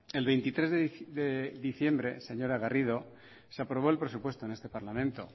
el veintitrés de diciembre señora garrido se aprobó el presupuesto en este parlamento